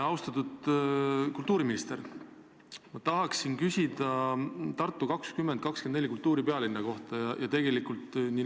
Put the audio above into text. Austatud kultuuriminister, ma tahan küsida Tartu 2024 kultuuripealinna kohta.